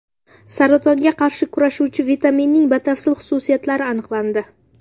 Saratonga qarshi kurashuvchi vitaminning batafsil xususiyatlari aniqlandi.